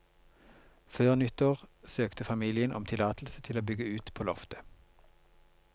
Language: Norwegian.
Før nyttår søkte familien om tillatelse til å bygge ut på loftet.